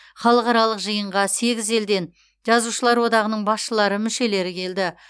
халықаралық жиынға сегіз елден жазушылар одағының басшылары мүшелері келді